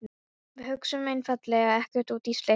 Við hugsuðum einfaldlega ekkert út í slíkt.